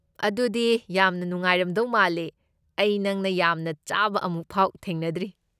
ꯑꯗꯨꯗꯤ ꯌꯥꯝ ꯅꯨꯡꯉꯥꯏꯔꯝꯗꯧ ꯃꯥꯜꯂꯦ, ꯑꯩ ꯅꯪꯅ ꯌꯥꯝꯅ ꯆꯥꯕ ꯑꯃꯨꯛꯐꯥꯎ ꯊꯦꯡꯅꯗ꯭ꯔꯤ꯫